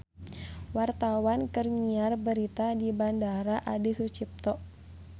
Wartawan keur nyiar berita di Bandara Adi Sucipto